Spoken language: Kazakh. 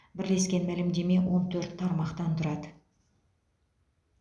бірлескен мәлімдеме он төрт тармақтан тұрады